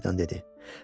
Selina birdən dedi.